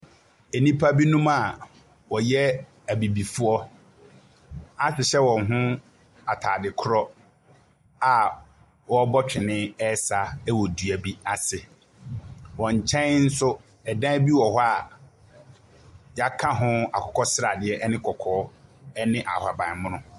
Nnipa binom a wɔyɛ abibifoɔ ahyehyɛ wɔn ho ataade korɔ a wɔrebɔ twene ɛresa ɛwɔ dua bi ase. Wɔn nkyɛn nso, dan bi wɔ hɔ a wɔaka ho akokɔsradeɛ ɛne kɔkɔɔ ɛne ahabanmono.